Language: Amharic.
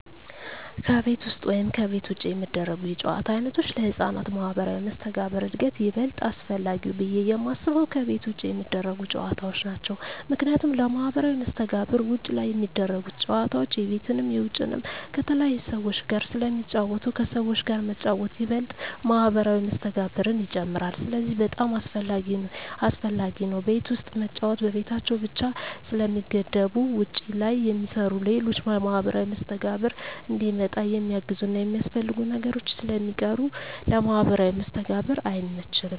ከቤት ውስጥ ወይም ከቤት ውጭ የሚደረጉ የጨዋታ ዓይነቶች ለሕፃናት ማኅበራዊ መስተጋብር እድገት ይበልጥ አስፈላጊው ብየ የማስበው ከቤት ውጭ የሚደረጉ ጨዎታዎች ናቸው ምክንያቱም ለማህበራዊ መስተጋብር ውጭ ላይ ሚደረጉት ጨወታዎች የቤትንም የውጭንም ከተለያዩ ሰዎች ጋር ስለሚጫወቱ ከሰዎች ጋር መጫወት ይበልጥ ማህበራዊ መስተጋብርን ይጨምራል ስለዚህ በጣም አሰፈላጊ ነው ቤት ውስጥ መጫወት በቤታቸው ብቻ ስለሚገደቡ ውጭ ላይ የሚሰሩ ሌሎች ለማህበራዊ መስተጋብር እንዲመጣ የሚያግዙና የሚያስፈልጉ ነገሮች ስለሚቀሩ ለማህበራዊ መስተጋብር አይመችም።